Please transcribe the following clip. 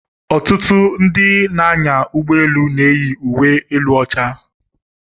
Ọtụtụ ndị na-anya ụgbọ elu na-eyi uwe elu ọcha.